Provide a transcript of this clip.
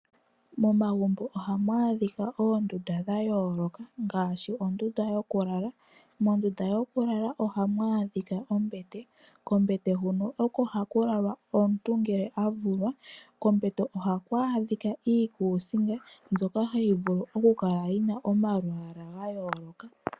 Momagumbo ohamu adhika oondunda dha yooloka ngaashi ondunda yokulala. Mondunda yokulala ohamu adhika ombete, kombete huno oko haku lala omuntu ngele avulwa, kombete ohaku adhika iikusinga mbyoka hayi vulu oku kala yina omalwaalwa ga yooloka.